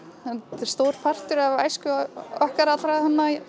þetta er stór partur af æsku okkar allra